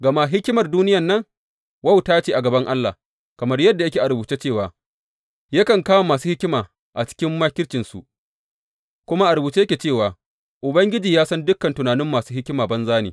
Gama hikimar duniyan nan, wauta ce a gaban Allah, kamar yadda yake a rubuce cewa, Yakan kama masu hikima a cikin makircinsu; kuma a rubuce yake cewa, Ubangiji ya san dukan tunanin masu hikima banza ne.